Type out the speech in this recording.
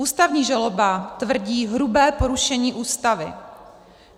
Ústavní žaloba tvrdí hrubé porušení Ústavy.